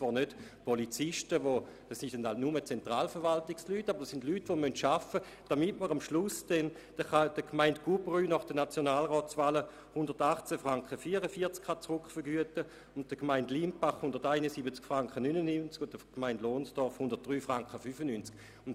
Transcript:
Das heisst, es müssen Leute in der Zentralverwaltung arbeiten, damit man zum Beispiel der Gemeinde Gurbrü nach den Nationalratswahlen 118.44 Franken rückvergüten kann, der Gemeinde Limpach 171.99 Franken und der Gemeinde Lohnstorf 103.95 Franken.